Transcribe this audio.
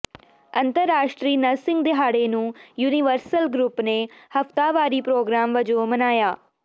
ਅੰਤਰਰਾਸ਼ਟਰੀ ਨਰਸਿੰਗ ਦਿਹਾੜੇ ਨੂੰ ਯੂਨੀਵਰਸਲ ਗਰੁੱਪ ਨੇ ਹਫਤਾਵਾਰੀ ਪ੍ਰੋਗਰਾਮ ਵਜੋਂ ਮਨਾਇਆ